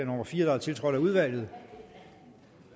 nummer fire tiltrådt af udvalget